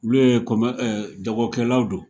Olu ye jagokɛlaw don.